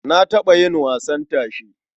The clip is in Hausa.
Na taɓa yin wasan tashe.